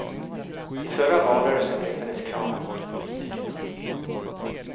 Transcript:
I förra valrörelsen riktades kraven mot politikerna.